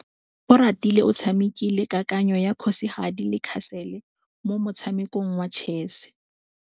Oratile o tshamekile kananyô ya kgosigadi le khasêlê mo motshamekong wa chess.